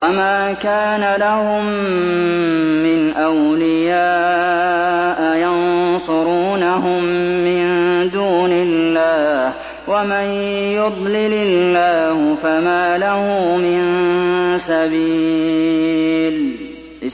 وَمَا كَانَ لَهُم مِّنْ أَوْلِيَاءَ يَنصُرُونَهُم مِّن دُونِ اللَّهِ ۗ وَمَن يُضْلِلِ اللَّهُ فَمَا لَهُ مِن سَبِيلٍ